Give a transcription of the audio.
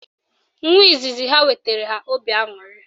Nwa izizi ha wetara ha obi aṅụrị